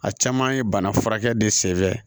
A caman ye bana furakɛ de senfɛ